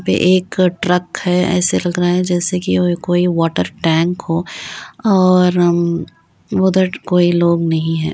वह एक ट्रक है। ऐसा लग रहा है जेसे कि वह कोई वाटर टैंक हो और उधर कोई लोग नहीं हैं।